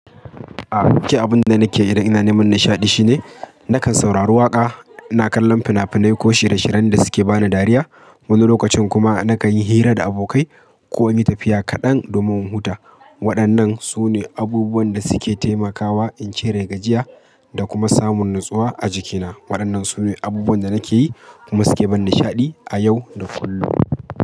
A, ke abun da nake yi da ina neman nishaɗi shine nakan saurari waƙa, na kallon fina-finai ko shirye-shiryen da suke bani dariya. Wani lokacin kuma nakan yi hira da abokai ko in yi tafiya kaɗan domin in huta. Waɗannan su ne abubuwan da suke taimakawa in cire gajiya da kuma samun natsuwa a jikina. Waɗannan su ne abubuwan da nake yi, kuma suke bani nishaɗi a yau da kullum.